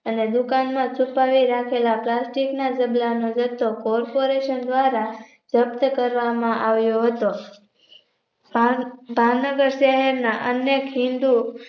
અને દુકાનમાં છુપાવી રાખેલા Plastic ના ઝબલાનો રસ્તો જથ્થો Corporation દ્વારા જપ્ત કરવામાં આવ્યો હતો ભાવ ભાવનગર શહેરના અને ખીંધુ